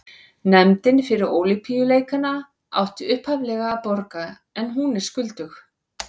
Nefndin fyrir Ólympíuleikana átti upphaflega að borga en hún er skuldug.